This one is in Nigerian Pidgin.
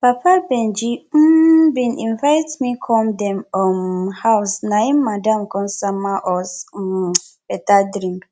papa benji um bin invite me come dem um house na im madam come sama us um better drink